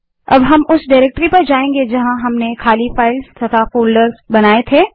अब हम उस डाइरेक्टरी में जायेंगे जहाँ हमने खाली फाइलें और फोल्डर बनाये थे